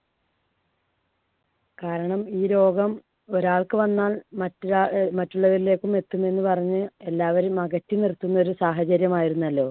കാരണം ഈ രോഗം ഒരാൾക്ക് വന്നാൽ മറ്റൊരാൾ അഹ് മറ്റുള്ളവരിലേക്കും എത്തുമെന്ന് പറഞ്ഞ് എല്ലാവരെയും അകറ്റി നിർത്തുന്ന ഒരു സാഹചര്യം ആയിരുന്നല്ലോ.